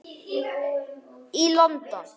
í London.